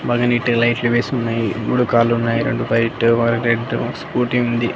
అలాగే నీట్టుగా లైట్లు వేసి ఉన్నాయి బుడకాలున్నాయి రెండు వైటు ఒకటి రెడ్డు స్కూటీ ఉంది.